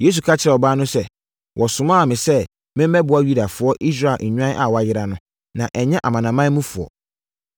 Yesu ka kyerɛɛ ɔbaa no sɛ, “Wɔsomaa me sɛ memmɛboa Yudafoɔ, Israel nnwan a wɔayera no, na ɛnyɛ amanamanmufoɔ.”